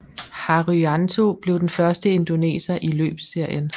Haryanto blev den første indoneser i løbsserien